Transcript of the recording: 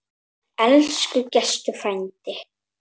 Elsku Gestur frændi.